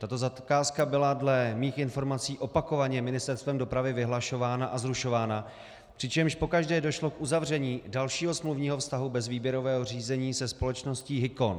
Tato zakázka byla dle mých informací opakovaně Ministerstvem dopravy vyhlašována a zrušována, přičemž pokaždé došlo k uzavření dalšího smluvního vztahu bez výběrového řízení se společností Hicon.